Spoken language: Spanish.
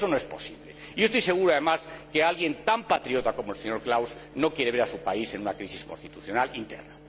Eso no es posible. Y yo estoy seguro, además, de que alguien tan patriota como el señor Klaus no quiere ver a su país en una crisis constitucional interna.